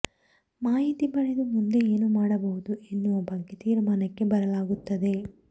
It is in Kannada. ಮಾಹಿತಿ ಪಡೆದು ಮುಂದೆ ಏನು ಮಾಡುಬಹುದು ಎನ್ನುವ ಬಗ್ಗೆ ತೀರ್ಮಾನಕ್ಕೆ ಬರಲಾಗುತ್ತದೆ